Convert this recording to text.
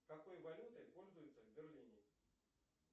какой валютой пользуются в берлине